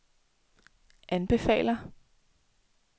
anbefaler